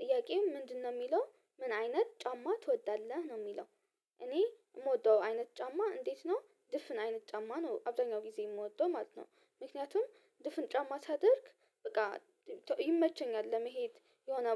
ጥያቄው ምንድነው የሚለው፤ "ምን አይነት ጫማ ትወዳለህ?" ነው የሚለው። እኔ የምወደው አይነት ጫማ እንዴት ነው ድፍን አይነት ጫማ ነው አብዛኛው ጊዜ የምወደው ማለት ነው። ምክንያቱም ድፍን ጫማ ሳደርግ በቃ ይመቸኛል ለመሄድ የሆነ